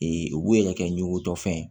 u b'u ye ka kɛ ɲiko tɔ fɛn ye